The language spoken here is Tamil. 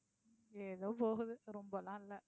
ஏதோ போகுது ரொம்பல்லாம் இல்லை.